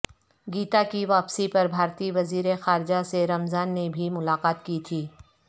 گیتا کی واپسی پر بھارتی وزیر خارجہ سے رمضان نے بھی ملاقات کی تھی